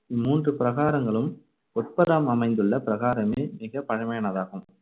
இம்மூன்று பிரகாரங்களும் அமைந்துள்ள பிரகாரமே மிகப் பழைமையானதாகும்.